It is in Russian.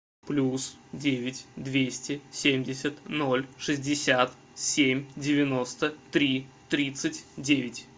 плюс девять двести семьдесят ноль шестьдесят семь девяносто три тридцать девять